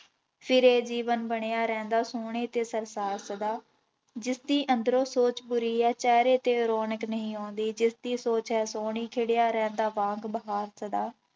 ਫਿਰ ਇਹ ਜੀਵਨ ਬਣਿਆ ਰਹਿੰਦਾ ਸੋਹਣੇ ਤੇ ਸਰਸਾਰ ਸਦਾ, ਜਿਸਦੀ ਅੰਦਰੋਂ ਸੋਚ ਬੁਰੀ ਹੈ ਚਿਹਰੇ ਤੇ ਰੌਣਕ ਨਹੀਂ ਆਉਂਦੀ, ਜਿਸਦੀ ਸੋਚ ਹੈ ਸੋਹਣੀ ਖਿੜਿਆ ਰਹਿੰਦਾ ਵਾਂਗ ਬਹਾਰ ਸਦਾ।